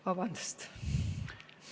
Vabandust!